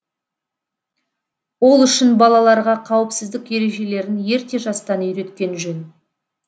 ол үшін балаларға қауіпсіздік ережелерін ерте жастан үйреткен жөн